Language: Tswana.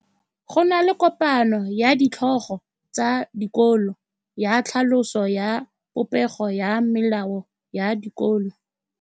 Go na le kopanô ya ditlhogo tsa dikolo ya tlhaloso ya popêgô ya melao ya dikolo.